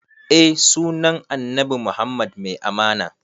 Eh sunan annabi muhammad mai amana